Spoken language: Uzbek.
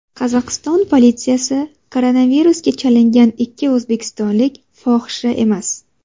Qozog‘iston politsiyasi: Koronavirusga chalingan ikki o‘zbekistonlik fohisha emas.